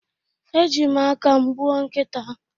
Eji m aka m gbuo nkita